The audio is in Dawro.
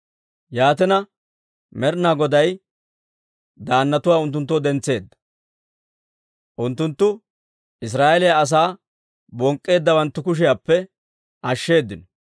Yaatina, Med'inaa Goday daannatuwaa unttunttoo dentseedda; unttunttu Israa'eeliyaa asaa bonk'k'eeddawanttu kushiyaappe ashsheeddino.